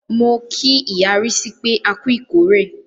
Mo kí ìyá Rísí pé, a ku ìkórè.